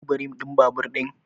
Ka duba rim din babur din?